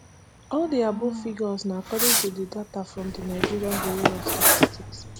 all di above figures na according to data from di nigeria bureau of statistics